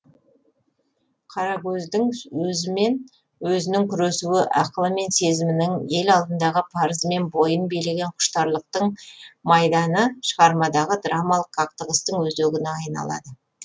қарагөздің өзімен өзінің күресуі ақылы мен сезімінің ел алдындағы парызы мен бойын билеген құштарлықтың майданы шығармадағы драмалық қақтығыстың өзегіне айналады